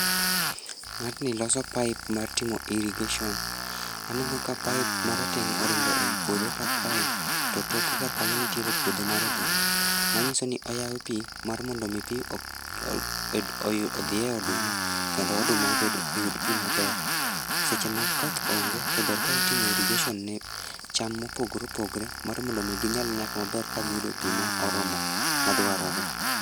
Ng'atni loso pipe mar timo irrigation. Aneno ka pipe marateng oringo e i puodho karkae to toke karakanyo nitiero puodho mar oduma, manyiso ni oyao pii mar mondo pii odhie e oduma, kendo oduma oyud pii maber. seche makoth onge, to ber ka itimo irrigaiton ne cham mopogore opogore mar mondo mi ginyal nyak maber ka giyudo pii moromo ma dwarore.